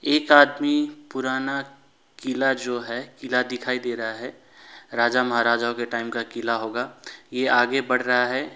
एक आदमी पुराना किला जो है किला दिखाई दे रहा है राजा महाराजाओं के टाइम का किला होगा ये आगे बढ़ रहा है।